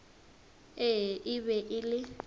ee e be e le